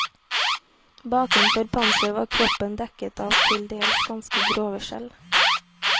Bakenfor panseret var kroppen dekket av til dels ganske grove skjell.